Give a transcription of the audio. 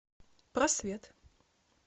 просвет